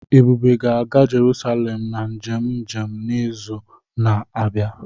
Ebube ga-aga Jerusalem na njem njem n'izu na-abịa